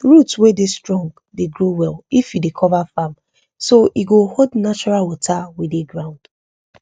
root wey strong dey grow well if you dey cover farm so e go hold natural water wey dey ground